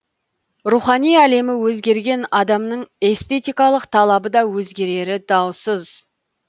рухани әлемі өзгерген адамның эстетикалық талабы да өзгерері даусыз